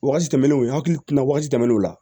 Wagati tɛmɛnenw n hakili kun na wagati tɛmɛnen o la